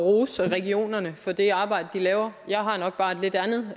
rose regionerne for det arbejde de laver jeg har nok bare et lidt andet